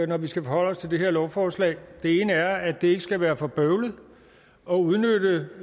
når vi skal forholde os til det her lovforslag det ene er at det ikke skal være for bøvlet at udnytte